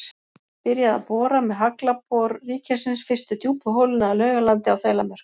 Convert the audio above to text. Byrjað að bora með Haglabor ríkisins fyrstu djúpu holuna að Laugalandi á Þelamörk.